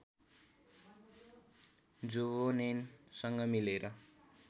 जुभोनेनसँग मिलेर